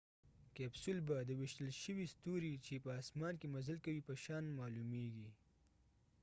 کیپسول به د ویشتل شوي ستوري چې په اسمان کې مزل کوي په شان معلومیږي